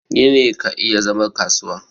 gini ka iya zama kasuwa